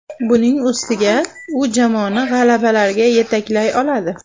Buning ustiga u jamoani g‘alabalarga yetaklay oladi.